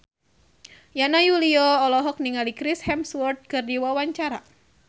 Yana Julio olohok ningali Chris Hemsworth keur diwawancara